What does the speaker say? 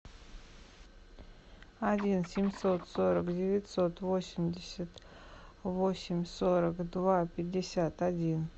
один семьсот сорок девятьсот восемьдесят восемь сорок два пятьдесят один